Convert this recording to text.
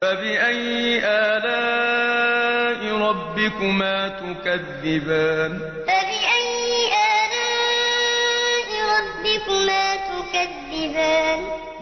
فَبِأَيِّ آلَاءِ رَبِّكُمَا تُكَذِّبَانِ فَبِأَيِّ آلَاءِ رَبِّكُمَا تُكَذِّبَانِ